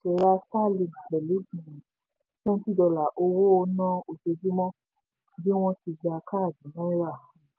pẹ̀lú um twenty dollar owó ná ojoojúmọ́ bí wọ́n ti gba káàdì náírà. um